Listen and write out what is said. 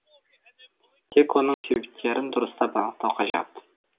тек оның себептерін дұрыстап анықтау қажет